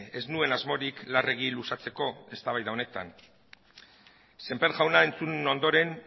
ez nuen asmorik larregi luzatzeko eztabaida honetan semper jauna entzun ondoren